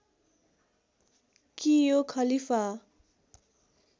कि यो खलीफा